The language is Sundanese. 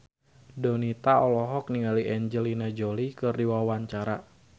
Donita olohok ningali Angelina Jolie keur diwawancara